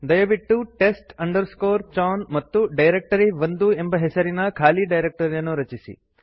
ದಯವಿಟ್ಟು test chown ಮತ್ತು directory one ಎಂಬ ಹೆಸರಿನ ಖಾಲಿ ಡೈರಕ್ಟರಿಯನ್ನು ರಚಿಸಿ